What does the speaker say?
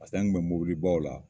an kun mɛ mɔbilibaw la.